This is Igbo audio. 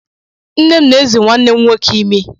Nne m na-èzì nwanne m nwoke imi.